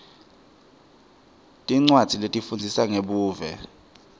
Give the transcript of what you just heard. tincwadzi letifundzisa ngebuve